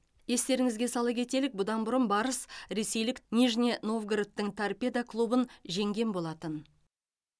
естеріңізге сала кетелік бұдан бұрын барыс ресейлік нижний новгородтың торпедо клубын жеңген болатын